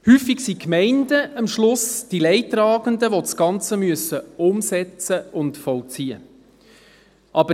Häufig sind die Gemeinden, die das Ganze umsetzen und vollziehen müssen, am Schluss die Leidtragenden.